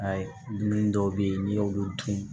Ayi dumuni dɔw be ye n'i y'olu dun